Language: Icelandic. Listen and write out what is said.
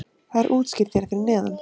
Það er útskýrt hér fyrir neðan.